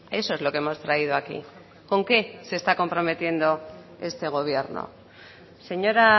eso es lo que hemos traído aquí con qué se está comprometiendo este gobierno señora